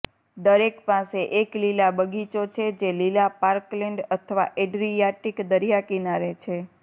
દરેક પાસે એક લીલા બગીચો છે જે લીલા પાર્કલેન્ડ અથવા એડ્રીયાટિક દરિયાકિનારે છે